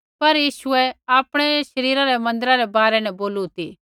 पर यीशुऐ आपणै शरीरा रै मन्दिरा रै बारै न बोलू ती